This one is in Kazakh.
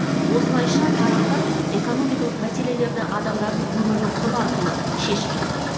осылайша тараптар экономикалық мәселелерді адамдардың өмірінің құны арқылы шешіп жатыр